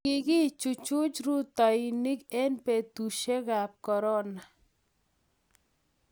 kiki chuchuch rutoinik eng' betusiekab korona